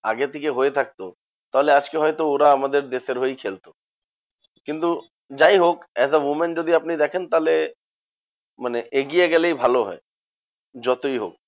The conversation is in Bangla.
আগে থেকে হয়ে থাকতো তাহলে আজকে হয়তো ওরা আমাদের দেশের হয়েই খেলতো কিন্তু যাইহোক as a women যদি আপনি দেখেন তাহলে মানে এগিয়ে গেলেই ভালো হয় যতই হোক।